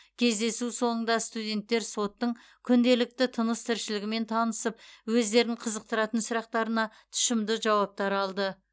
кездесу соңында студенттер соттың күнделікті тыныс тіршілігімен танысып өздерін қызықтыратын сұрақтарына тұшымды жауаптар алды